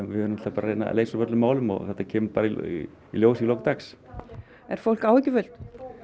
við erum náttúrulega að reyna að leysa úr öllum málum og þetta kemur bara í ljós í lok dags er fólk áhyggjufullt